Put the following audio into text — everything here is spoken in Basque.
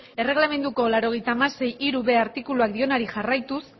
erregelamenduko laurogeita hamasei puntu hirub artikuluak dionari jarraituz